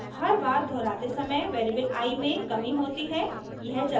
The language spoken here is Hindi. हर बार दोहराते समय वेरिएबल i में कमी होती है